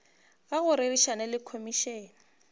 ga go rerišana le komišene